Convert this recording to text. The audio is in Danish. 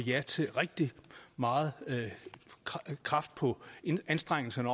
ja til rigtig meget kraft på anstrengelserne